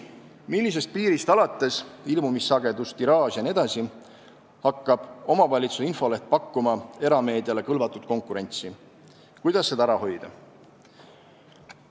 Meilt küsiti ka, millisest piirist alates hakkab omavalitsuse infoleht pakkuma erameediale kõlvatut konkurentsi ja kuidas seda ära hoida.